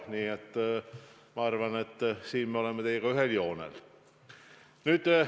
Nii et ma arvan, et selles osas me oleme teiega ühel meelel.